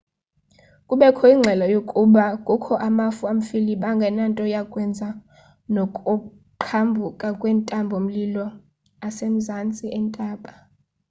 kubekho ingxelo yokuba kukho amafu amfiliba angenanto yakwenza nokuqhambuka kwentaba-mlilo asemazantsi entaba